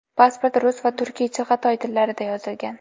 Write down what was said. Pasport rus va turkiy chig‘atoy tillarida yozilgan.